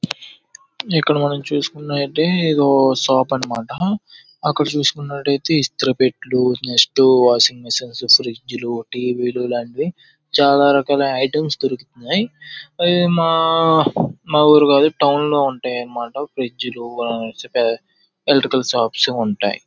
ఇక్కడ మనం చూసుకుంటే గొప్ప షాప్ అనమాట. అక్కడ చూసుకున్నట్లయితే ఇస్త్రీ పెట్టెలు నెక్స్ట్ వాషింగ్ మిషన్లో ఫ్రిజ్లు టీవీలో ఇలాంటివి చాలా రకాల ఐటమ్స్ దొరుకుతున్నాయి. మా ఊరి వాళ్ళు టౌన్ లో ఉంటాయన్నమాట ఎలక్ట్రికల్ షాప్ ల ఉంటాయి.